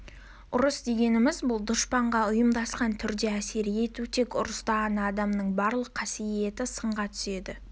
ұрыс дегеніміз бұл дұшпанға ұйымдасқан түрде әсер ету тек ұрыста ғана адамның барлық қасиеті сынға түседі